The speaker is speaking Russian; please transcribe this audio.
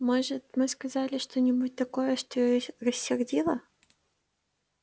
может мы сказали что-нибудь такое что её рассердило